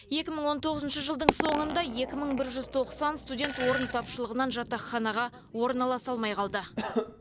екі мың он тоғызыншы жылдың соңында екі мың бір жүз тоқсан студент орын тапшылығынан жатақханаға орналаса алмай қалды